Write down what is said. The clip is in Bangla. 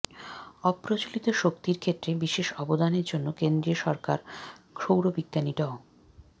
অপ্রচলিত শক্তির ক্ষেত্রে বিশেষ অবদানের জন্য কেন্দ্রীয় সরকার সৌরবিজ্ঞানী ড